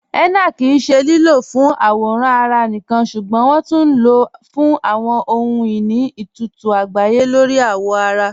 Henna kí í ṣẹ lílọ́ fún àwòràn ará níkan ṣúgbọ́n wọn tún ló fún àwọn ọhun-iní itutu àgbáyé lórí awọ ará.